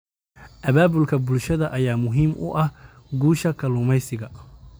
Abaabulka bulshada ayaa muhiim u ah guusha kalluumeysiga.